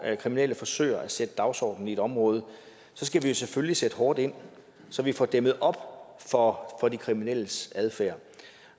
at kriminelle forsøger at sætte dagsordenen i et område skal vi selvfølgelig sætte hårdt ind så vi får dæmmet op for de kriminelles adfærd